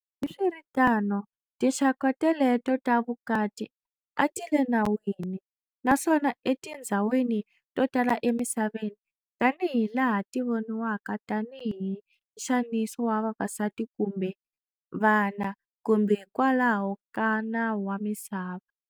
Hambiswiritano, tinxaka teleto ta vukati a tile nawini naswona e tinzhawini to tala e misaveni tani hi laha ti voniwaka tani hi nxaniso wa vavasati kumbe vana kumbe hi kwalaho ka nawu wa misava.